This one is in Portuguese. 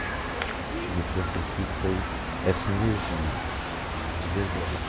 O que me trouxe aqui foi essa energia, de verdade.